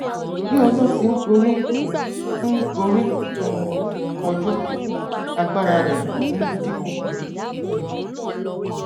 bí ọjọ ti ń gorí ń gorí um ọjọ agbára rẹ ń dínkù